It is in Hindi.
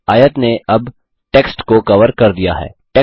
आयत ने अब टेक्स्ट को कवर कर दिया है